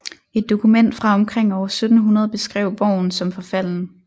Et dokument fra omkring år 1700 beskrev borgen som forfalden